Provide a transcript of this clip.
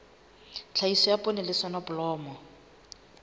tlhahiso ya poone le soneblomo